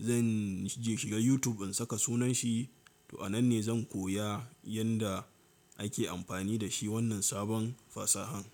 zan je shiga YouTube in saka sunan shi, to a nan ne zan koya yanda ake amfani da shi wannan sabon fasahan.